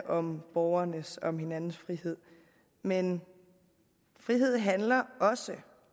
om borgernes og om hinandens frihed men frihed handler også